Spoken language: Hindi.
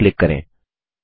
सेव पर क्लिक करें